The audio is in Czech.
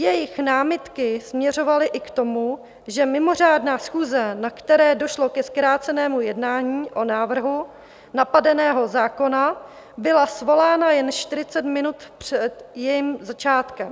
Jejich námitky směřovaly i k tomu, že mimořádná schůze, na které došlo ke zkrácenému jednání o návrhu napadeného zákona, byla svolána jen 40 minut před jejím začátkem.